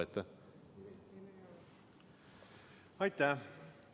Aitäh!